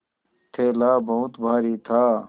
थैला बहुत भारी था